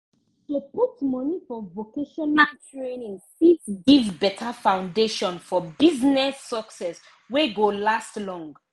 to put money for vocational training fit give better foundation for business success wey go last long